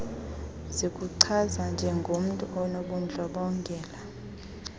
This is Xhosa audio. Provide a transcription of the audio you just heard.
zikuchaza njengomntu onobundlobongela